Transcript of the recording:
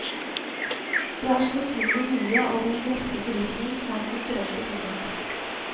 Det er så utrolig mye av den greske turismen som er kulturelt betinget.